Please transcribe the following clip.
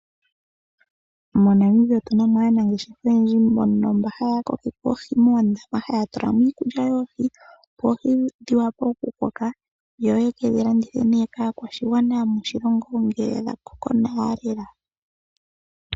MoNamibia otunamo aanangeshefa oyendji mbono mbaya kokeke oohi moondama haya tulamo iikulya yohii, opo oohi dhiwape oku koka yo yekedhilandithe nee kaakwashigwana yomoshilongo ngele dhakoko nawa lela.